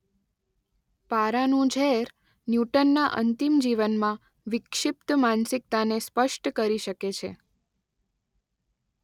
પારાનું ઝેર ન્યૂટનના અંતિમ જીવનમાં વિક્ષિપ્ત માનસિકતાને સ્પષ્ટ કરી શકે છે.